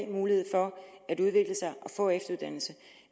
mulighed for at udvikle sig og få efteruddannelse